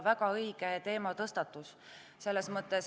Väga õige teematõstatus.